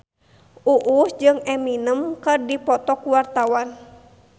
Uus jeung Eminem keur dipoto ku wartawan